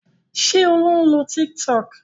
Ṣé Olú ń lo Tiktok?